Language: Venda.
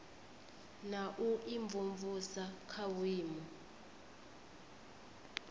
na u imvumvusa kha vhuimo